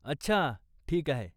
अच्छा, ठीक आहे.